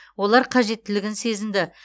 олар қажеттілігін сезінді